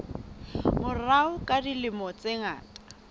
morao ka dilemo tse ngata